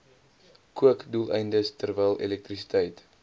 kookdoeleindes terwyl elektrisiteit